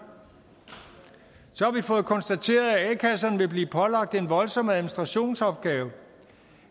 så har vi fået konstateret at a kasserne vil blive pålagt en voldsom administrationsopgave